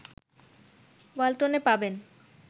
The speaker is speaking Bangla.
ওয়াল্টনে পাবেন